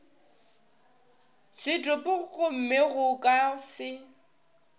setopo gomme go ka se